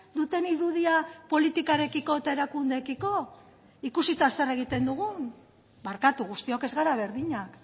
duten irudia politikarekiko eta erakundeekiko ikusita zer egiten dugun barkatu guztiok ez gara berdinak